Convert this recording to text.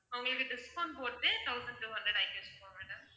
உங்களுக்கு discount போட்டு thousand two hundred ஆக்கியிருக்கோம் madam